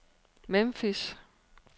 Memphis